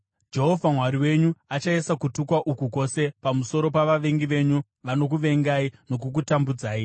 Jehovha Mwari wenyu achaisa kutukwa uku kwose pamusoro pavavengi venyu vanokuvengai nokukutambudzai.